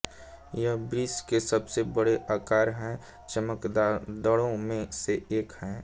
यह विश्व के सबसे बड़े आकार के चमगादड़ों में से एक है